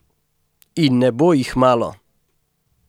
In ne bo jih malo!